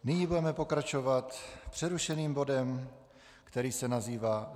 Nyní budeme pokračovat přerušeným bodem, který se nazývá